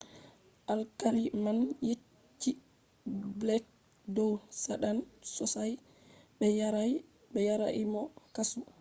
alkali man yecci blek dow saɗan sosai” ɓe yarai mo kasu